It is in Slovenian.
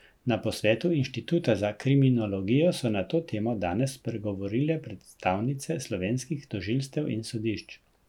Na posvetu inštituta za kriminologijo so na to temo danes spregovorile predstavnice slovenskih tožilstev in sodišč.